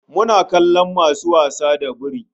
Muna kallon masu wasa da biri